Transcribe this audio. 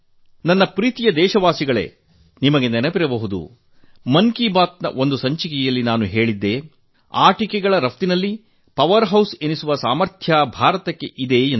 ನನ್ನ ಪ್ರಿಯ ದೇಶವಾಸಿಗಳೇ ನಿಮಗೆ ನೆನಪಿರಬಹುದು ಮನ್ ಕಿ ಬಾತ್ ನ ಒಂದು ಸಂಚಿಕೆಯಲ್ಲಿ ನಾನು ಹೇಳಿದ್ದೆ ಆಟಿಕೆಗಳ ರಫ್ತಿನಲ್ಲಿ ಶಕ್ತಿ ಕೇಂದ್ರ ಎನಿಸುವ ಎಲ್ಲ ಸಾಮರ್ಥ್ಯ ಭಾರತಕ್ಕಿದೆ ಎಂದು